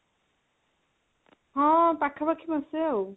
ହଁ ପାଖାପାଖି ମାସେ ଆଉ